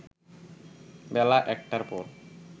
বেলা ১টার পর